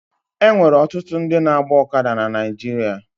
E nwere ọtụtụ ndị na-agba ọkada na Naịjirịa.